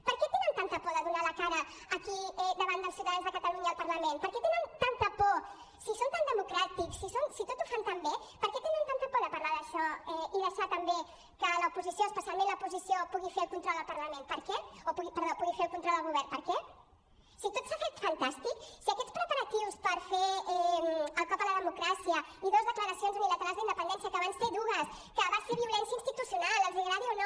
per què tenen tanta por de donar la cara aquí davant dels ciutadans de catalunya al parlament per què tenen tanta por si són tan democràtics si tot ho fan tan bé per què tenen tanta por de parlar d’això i deixar també que l’oposició especialment l’oposició pugui fer el control al govern per què si tot s’ha fet fantàstic si aquests preparatius per fer el cop a la democràcia i dos declaracions unilaterals d’independència que van ser dues que va ser violència institucional els agradi o no